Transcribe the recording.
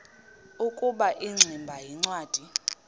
ukuba ingximba yincwadi